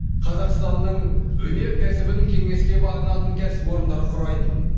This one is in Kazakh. қазақстанның өнеркәсібін кеңеске бағынатын кәсіпорындар құрайтын